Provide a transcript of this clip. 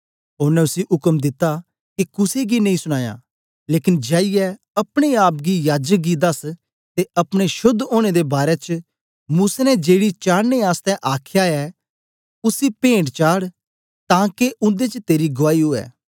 ओनें उसी उक्म दित्ता के कुसे गी नेई सुनायां लेकन जाईयै अपने आप गी याजक गी दस ते अपने शोद्ध ओनें दे बारै च मूसा ने जेड़ी चाडने आसतै आखया ऐ उसी पेंट चाड़ तांके उन्दे च तेरी गुआई ऊऐ